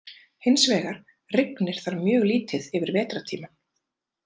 Hins vegar rignir þar mjög lítið yfir vetrartímann.